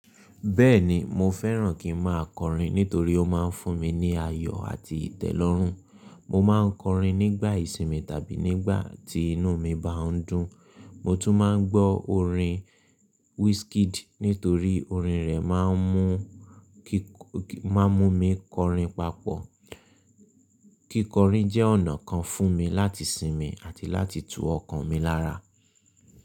Bẹ́ẹ̀ni, mo fẹ́ràn kí n máa kọrin nítorí ó máa ń fún mi ní ayọ̀ àti ìtẹ́lọ́rùn. Mo máa ń kọrin nígbà ìsinmi tàbí nígbà tí inú mi bá ń dùn. Mo tún máa ń gbọ́ orin Wizkid nítorí orin rẹ̀ máa ń mú kí—máa ń mú mi kọrin papọ̀. Kíkọrin jẹ́ ọ̀nà kan fún mi láti sinmi àti láti tu ọkàn mi lára.